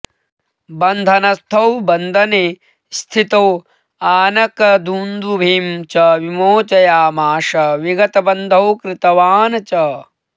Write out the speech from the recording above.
बन्धनस्थौ बन्दने स्थितौ आनकदुन्दुभिं च विमोचयामास विगतबन्धौ कृतवान् च